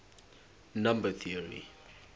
number theory